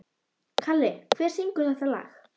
Kalli, hver syngur þetta lag?